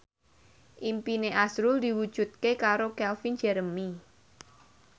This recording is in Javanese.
impine azrul diwujudke karo Calvin Jeremy